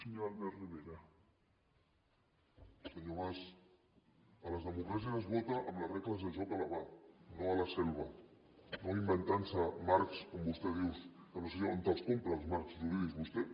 senyor mas a les democràcies es vota amb les regles del joc a la mà no a la selva no inventant se marcs com vostè diu que no sé on els compra els marcs jurídics vostè